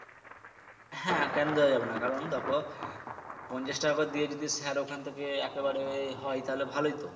হ্যা কেন দেয়া যাবে না কারণ তখন পঞ্ছাশ টাকা করে দিয়ে যদি স্যার ওখান থেকে একেবারে হয় তাহলে ভালোই তো